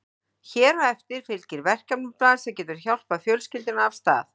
Hér á eftir fylgir verkefnablað sem getur hjálpað fjölskyldunni af stað.